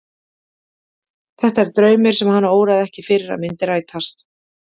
Þetta er draumur sem hana óraði ekki fyrir að myndi rætast.